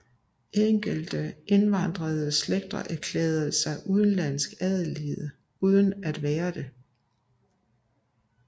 Enkelte indvandrede slægter erklærede sig udenlandsk adelige uden at være det